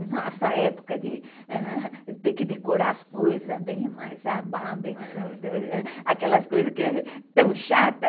Nossa época de ter que decorar as coisas bem mais, aquelas coisas que é tão chata.